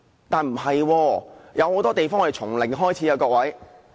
但是，很多時候我們都要從零開始。